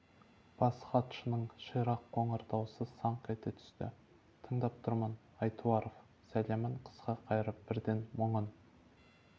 бас хатшының ширақ қоңыр дауысы саңқ ете түсті тыңдап тұрмын айтуаров сәлемін қысқа қайырып бірден мұңын